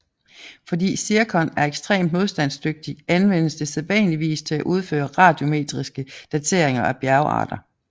Fordi zirkon er ekstremt modstandsdygtigt anvendes det sædvanligvis til at udføre radiometriske dateringer af bjergarter